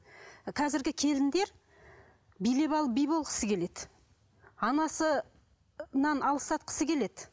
қазіргі келіндер билеп алып би болғысы келеді анасынан алыстатқысы келеді